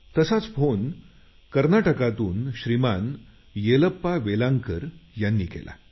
तसंच मला एक फोन कर्नाटकातून श्रीमान येलप्पा वेलांतर यांनी केला